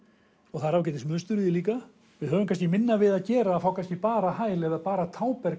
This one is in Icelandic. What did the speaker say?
og það er ágætis mynstur í því líka við höfum kannski minna við að gera að fá kannski bara hæl eða bara